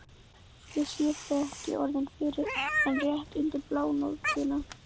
Ég sé þig ekki orðið fyrr en rétt undir blánóttina.